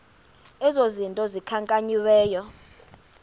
ezi zinto zikhankanyiweyo